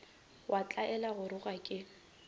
wa tlwaela go gora ke